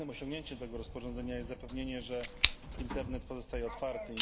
Głównym osiągnięciem tego rozporządzenia jest zapewnienie, że internet pozostaje otwarty.